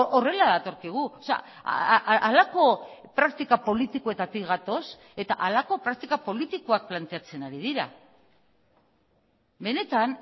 horrela datorkigu halako praktika politikoetatik gatoz eta halako praktika politikoak planteatzen ari dira benetan